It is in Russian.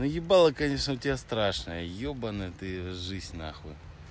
но ебало конечно у тебя страшное ёбаная ты жизнь нахуй